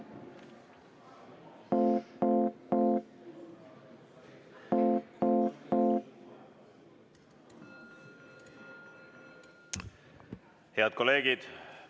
Head kolleegid!